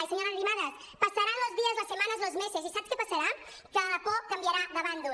i senyora arrimadas pasarán los días las semanas los meses i saps què passarà que la por canviarà de bàndol